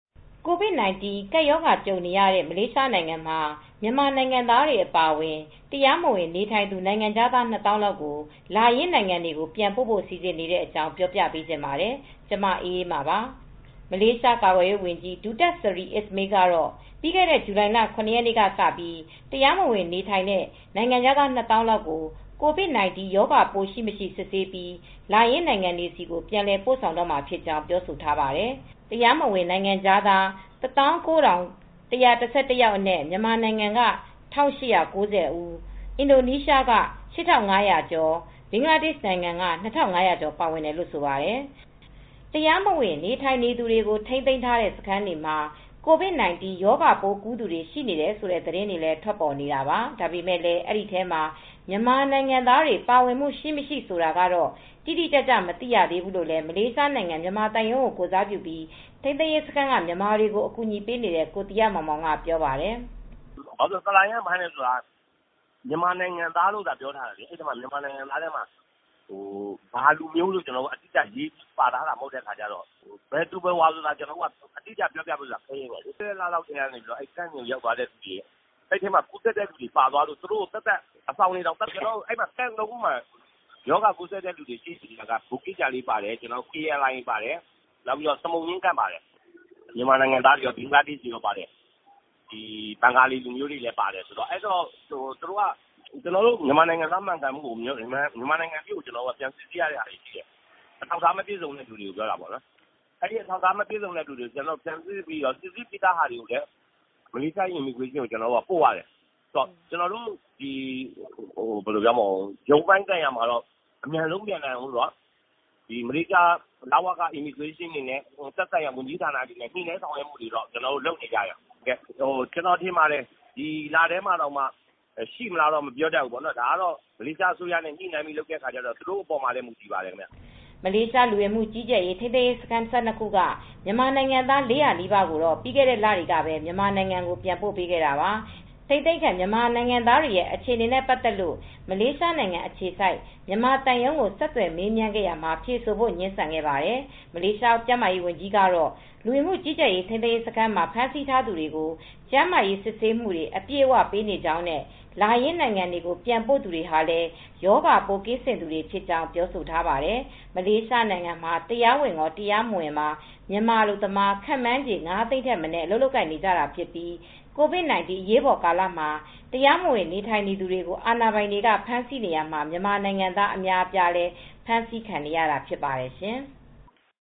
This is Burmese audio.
ကိုဗစ်-၁၉ ကပ်ရောဂါ ကြုံနေရတဲ့ မလေးရှားနိုင်ငံမှာ မြန်မာနိုင်ငံသားတွေ အပါအဝင် တရားမဝင် နေထိုင်သူ နိုင်ငံခြားသား၂ သောင်းလောက်ကို လာရင်းနိုင်ငံတွေကို ပြန်ပို့နေပြီ းဆက်လက်လည်းပို့ဖို့ စီစဉ်နေတဲ့အကြောင်းကို မအေးအေးမာက ပြောပြပေးပါမယ်။ မလေးရှားကာကွယ်ရေးဝန်ကြီး Datuk Seri Ismail Sabri Yaakob ကတော့ ပြီးခဲ့တဲ့ ဇူလိုင်လ (၇) ထိ တရားမဝင် နေထိုင်သူ နိုင်ငံခြားသား ၂ သောင်းလောက်ကို ကိုဗစ်-၁၉ ရောဂါးပိုး ရှိ-မရှိ စစ်ဆေးပြီး လာရင်းနိုင်ငံတွေကို ပြန်လည်ပို့ဆောင်ပြီးပြီးပြောဆိုထားပါတယ်။ ဒီထဲမှာတရားမဝင် နိုင်ငံခြားသား ၁၉၁၁၁ ယောက်အနက်၊ မြန်မာနိုင်ငံက ၁၈၉၀၊ အင်ဒိုနီးရှားက ၈၅၀၀ ကျော်၊ ဘင်္ဂလားဒေ့ရှ်နိုင်ငံက ၂၅၀၀ ကျော်ပါဝင်တယ်လို့လည်း ဆိုပါတယ် တရားမဝင် နေထိုင်သူတွေကို ထိန်းသိမ်းထားတဲ့ စခန်းတွေမှာ ကိုဗစ် -၁၉ ရောဂါပိုးကူးသူတွေ ရှိနေတယ်ဆိုတဲ့ သတင်းတွေလည်း ထွက်ပေါ်နေတာပါ။ ဒါပေမဲ့လည်း ကူးစက်သူတွေထဲ မြန်မာနိုင်ငံသားတွေ ပါဝင်မှု ရှိမရှိဆိုတာကတော့ တိတိကျကျ မသိရဘူးလို့လည်း မလေးရှားနိုင်ငံ မြန်မာသံရုံးကို ကိုယ်စားပြုပြီး ထိန်းသိမ်းရေးစခန်းက မြန်မာတွေကို အကူညီပေးနေတဲ့ ကိုသီဟမောင်မောင် ကပြောပါတယ်။ "ဆာလရမ်းဖမ်းတော့ မြန်မာနိုင်ငံသားတွေလိုသာ ပြောတာ ဘယ်လူမျိုးလို့တော့ မပြောထားတော့ဘယ်သူဘယ်ဝါအတိအကျပြောလို့ မရဘူး ပြီးခဲ့တဲ့ လတွေတုန်းက စခန်းကိုရောက်သွားတဲ့အခါ ကူးစက်သူတွေပါသွားတော့ အဆောင်တွေတောင်သပ်သပ်ခွဲထားတာ စခန်း ၃ ခုမှာ ရောဂါကူးစက်တာက ဘူဂစ်ဂျာလေး စခန်းပါတယ်။ ALIA ပါတယ် စမုံညှင်းစခန်းပါတယ်၊ မြန်မာနိုင်ငံသားတွေရော ဘဂီဘင်္ဂလီတွေလည်းပါတယ်။ ဘင်္ဂလားဒေ့ရှ်ပါတယ် ကျနော်တို့အနေနဲ့ မြန်မာနိုင်ငံသား မှန်ကန်မှုကို မြန်မာနိုင်ငံထိပြန်စိစစ်ရတာရှိတယ်။ အထောက်အထားမပြည့်စုံတဲ့သူတွေပြောတာပေါ့နော်။ အထောက်အထားတွေကိုပြန်စီစစ်ပြီးသားကို မလေးရှားလဝကကိုပို့ ရတယ်။ အထောက်အထားရှိသူတွေအတွက်ရုံးပိုင်ဆိုင်ရာကိစ္စတွေကို အမြန်ဆုံးပြန်နိုင်ရေး အတွက် မလေးရှားလဝကနဲ့ သက်ဆိုင်ရာဝန်ကြီးဌာနတွေနဲ့ သူတွေလုပ်နေကြပါတယ်။ ကျနော်ထင်ပါတယ်။ ဒီလထဲမှာတောင်ရှိမလားမသိဘူး မလေးရှားအစိုးရနဲ့ ညှိနှိုင်းပြီး လုပ်ရတာမို့ သူတို့အပေါ်မှာလည်း မူတည်ပါတယ်။" မလေးရှား လူဝင်မှုကြီးကြပ်ရေး ထိမ်းသိမ်းရေးစခန်း ၁၂ ခုက မြန်မာနိုင်ငံသား ၄၀၀ နီးပါးကိုတော့ ပြီးခဲ့တဲ့လတွေမှာပဲ မြန်မာနိုင်ငံကို ပြန်ပို့ပေးခဲ့တာပါ။ ထိန်းသိမ်းခံမြန်မာနိုင်ငံသားတွေ အခြေအနေနဲ့ ပတ်သက်လို့ မလေးရှားနိုင်ငံ အခြေစိုက် မြန်မာသံရုံးကို ဆက်သွယ်မေးမြန်းရာမှာ ဖြေဆိုဖို့ ငြင်းဆန်ခဲ့ပါတယ်။ မလေးရှားကျန်းမာရေးဝန်ကြီးကတော့ လူဝင်မှုကြီးကြပ်ရေး ထိမ်းသိမ်းရေးစခန်းမှာ ဖမ်းဆီးထားသူတွေကို ကျန်းမာရေးစစ်ဆေးမှုတွေ အပြည့်အဝပေးနေကြောင်းနဲ့ လာရင်းနိုင်ငံတွေကို ပြန်ပို့တဲ့သူတွေဟာလည်း ရောဂါပိုးကင်းစင်သူတွေဖြစ်ကြောင်း ပြောဆိုထားပါတယ်။ မလေးရှားနိုင်ငံမှာတရားဝင်ကောတရားမဝင်ပါ မြန်မာအလုပ်သမား ခန့်မှန်းခြေ ၅ သိန်းထက်မနည်း အလုပ်လုပ်ကိုင်နေကြပြီး၊ ကိုဗစ် ၁၉ အရေးပေါ်ကာလမှာ တရားမဝင်နေထိုင်သူတွေကို အာဏာပိုင်တွေ ဖမ်းဆီးနေရာမှာ မြန်မာနိုင်ငံသား အများအပြားလည်း ဖမ်းဆီးခံနေရတာ ဖြစ်ပါတယ်ရှင်။